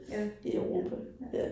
Ja. Ja